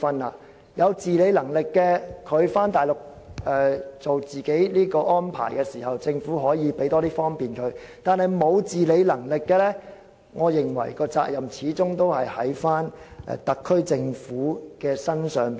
對於有自理能力的人安排自己返回內地養老，政府可以為他們提供更大方便，但對於沒有自理能力的人，我認為責任始終在於特區政府身上。